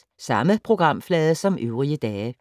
Samme programflade som øvrige dage